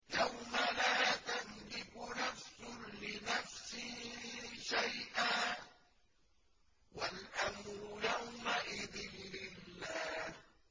يَوْمَ لَا تَمْلِكُ نَفْسٌ لِّنَفْسٍ شَيْئًا ۖ وَالْأَمْرُ يَوْمَئِذٍ لِّلَّهِ